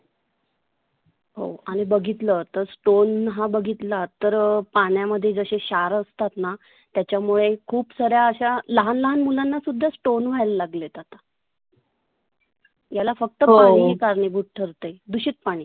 हो आणि बघितल तर दोन हा बधितला तर पाण्यामध्ये जसे क्षार असतातना त्याच्यामुळे खुपसार्या अशा लहाण लहाण मुलांना सुद्धा stone व्हायला लागले आता. याला फक्त पाणि हे कारणिभुत ठरते. दुषित पाणि.